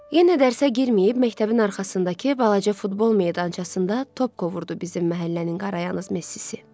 Yenə dərsə girməyib, məktəbin arxasındakı balaca futbol meydançasında top qovurdu bizim məhəllənin qarayanyaz Messisi.